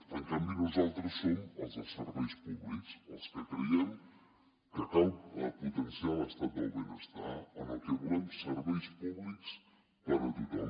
en canvi nosaltres som els dels serveis públics els que creiem que cal potenciar l’estat del benestar en el que volem serveis públics per a tothom